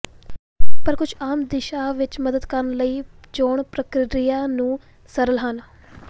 ਪਰ ਕੁਝ ਆਮ ਦਿਸ਼ਾ ਵਿੱਚ ਮਦਦ ਕਰਨ ਲਈ ਚੋਣ ਪ੍ਰਕਿਰਿਆ ਨੂੰ ਸਰਲ ਹਨ